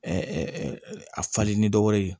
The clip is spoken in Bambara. a falen ni dɔwɛrɛ ye